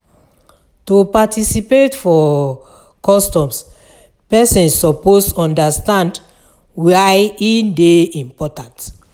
To participate for customs persin suppose understand why e de important